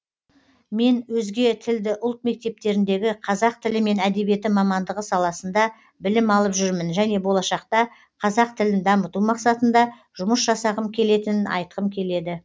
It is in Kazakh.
мен өзге тілді ұлт мектептеріндегі қазақ тілі мен әдебиеті мамандығы саласында білім алып жүрмін және болашақта қазақ тілін дамыту мақсатында жұмыс жасағым келетінін айтқым келеді